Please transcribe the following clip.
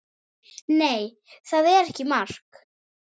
Nei, það var ekki mark.